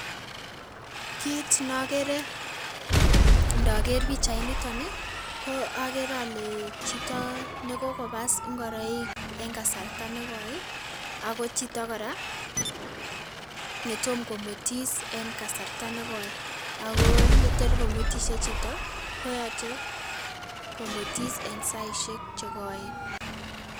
kiit nogere ndoger pichait initok ii koo ogere ole chito nekokopass ngoroik en kasarta nekoi ii ako chito kora netomkomwetis en kasarta nekoi ako yetor komwetishie chito koyoche komwetis en saisiek chekoooen